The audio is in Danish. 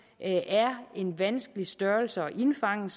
er en vanskelig størrelse at indfange